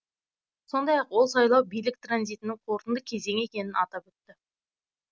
сондай ақ ол сайлау билік транзитінің қорытынды кезеңі екенін атап өтті